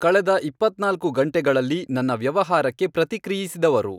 ಕಳೆದ ಇಪ್ಪತ್ನಾಲ್ಕು ಗಂಟೆಗಳಲ್ಲಿ ನನ್ನ ವ್ಯವಹಾರಕ್ಕೆ ಪ್ರತಿಕ್ರಿಯಿಸಿದವರು